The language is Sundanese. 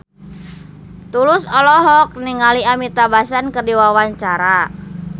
Tulus olohok ningali Amitabh Bachchan keur diwawancara